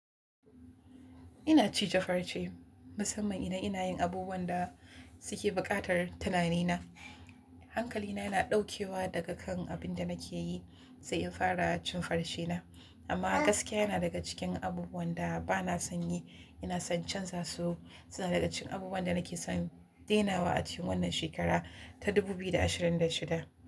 Ina cije farce, musamman idan ina yin abubuwan da suke buƙatar tunanina. Hankalina yana ɗaukewa daga kan abin da nake yi sai in fara cin farcena. Amma gaskiya yana daga cikin abubuwan da ba na son yi, ina son canza su. Suna daga cikin abubuwan da nake son denawa a cikin wannan shekara ta 2026.